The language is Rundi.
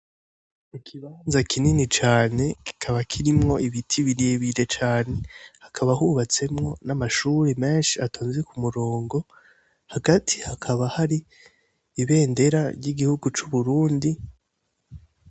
Mu kibanza kinini cane kikaba kirimwo ibiti birebire cane hakaba hubatsemwo n'amashuri menshi atonze ku murongo hagati hakaba hari ibendera ry'igihugu c'uburundi.